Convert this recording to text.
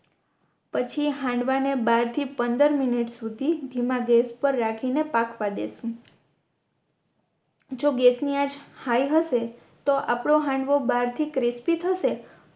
પછી હાંડવાના ને બાર થી પંદર મિનટ સુધી ધીમા ગેસ પર રાખીને પાકવા દેસુ જો ગેસ ની આંચ હાઇ હસે તો આપનો હાંડવો બાહર થી ક્રિસ્પિ થશે